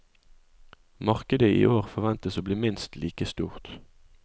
Markedet i år forventes å bli minst like stort.